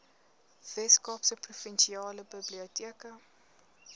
weskaapse provinsiale biblioteke